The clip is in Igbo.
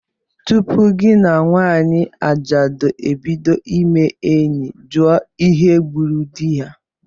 Tupu gị na nwanyị ajadu ebido ime enyi, jụọ ihe gburu di ya!